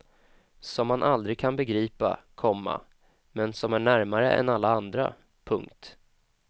Som man aldrig kan begripa, komma men som är närmare än alla andra. punkt